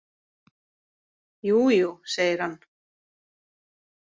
Jú, jú, segir hann.